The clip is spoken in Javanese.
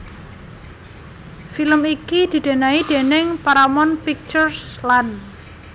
Film iki didanai déning Paramount Pictures lan